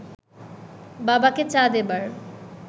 বাবাকে চা দেবার